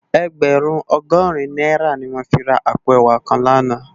Ègbèrún ògòrín nàirá ni mó fi rá àpó èwá kán làná